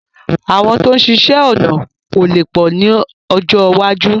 Àwọn tó ń ṣiṣẹ́ ọnà ó lè pọ̀ mọ́ ni ọjọ́ iwájú